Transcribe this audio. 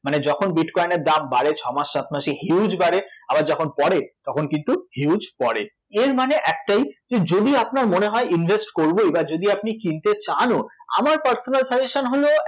মানে যখন bitcoin এর দাম বাড়ে ছ' মাস সাত মাসে huge বাড়ে, আবার যখন পড়ে তখন কিন্তু huge পড়ে, এর মানে একটাই যে যদি আপনার মনে হয় invest করব এইবার যদি আপনি কিনতে চানও আমার personal suggestion হল